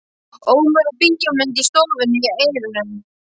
Ómur af bíómynd í stofunni í eyrunum.